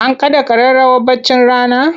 An kaɗa ƙararrawar baccin rana?